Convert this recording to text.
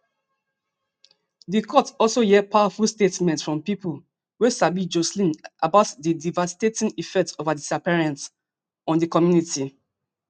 di court also hear powerful statements from pipo wey sabi joshlin about di devastating effect of her disappearance on di community